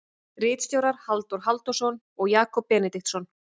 Ritstjórar Halldór Halldórsson og Jakob Benediktsson.